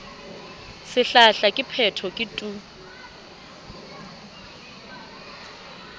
sehlahla ke phetho ke tu